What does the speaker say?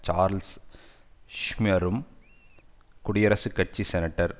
Charles ஷ்யுமெரும் குடியரசுக் கட்சி செனட்டர்